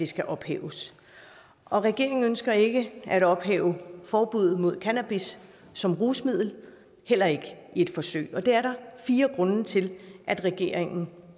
skal ophæves regeringen ønsker ikke at ophæve forbuddet mod cannabis som rusmiddel heller ikke i et forsøg det er der fire grunde til at regeringen